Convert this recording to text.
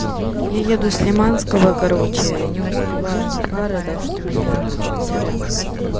я еду с лиманского короче не успеваю на пары так что меня не будет сорян